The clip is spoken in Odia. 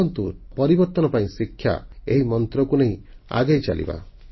ଆସନ୍ତୁ ପରିବର୍ତ୍ତନ ପାଇଁ ଶିକ୍ଷା ଏହି ମନ୍ତ୍ରକୁ ନେଇ ଆଗେଇ ଚାଲିବା